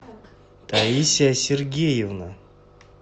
таисия сергеевна